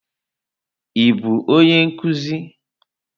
Ị bụ onye nkuzi?